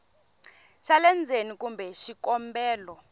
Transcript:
xa le ndzeni kumbe xikombelo